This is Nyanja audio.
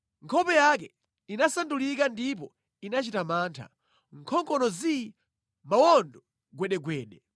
Nkhope yake inasandulika ndipo inachita mantha, nkhongono zii, mawondo gwedegwede.